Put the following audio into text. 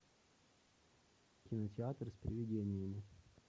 кинотеатр с привидениями